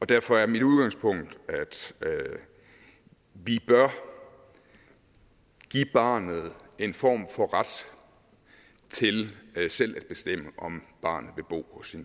derfor er mit udgangspunkt at vi bør give barnet en form for ret til selv at bestemme om barnet vil bo hos